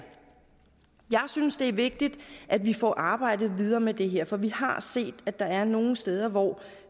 jeg synes det er vigtigt at vi får arbejdet videre med det her for vi har set at der er nogle steder hvor